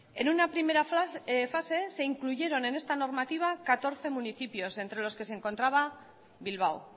en una primera fase se incluyeron en esta normativa catorce municipios entre los que se encontraba bilbao